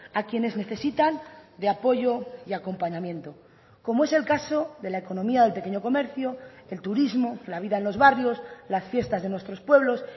a quienes necesitan de apoyo y acompañamiento como es el caso de la economía del pequeño comercio el turismo la vida en los barrios las fiestas de nuestros pueblos